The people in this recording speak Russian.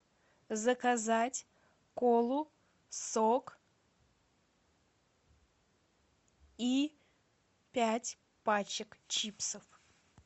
заказать колу сок и пять пачек чипсов